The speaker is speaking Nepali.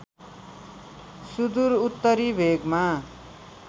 सुदूर उत्तरी भेगमा